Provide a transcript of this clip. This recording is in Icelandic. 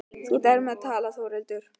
Þú átt erfitt með að tala Þórhildur.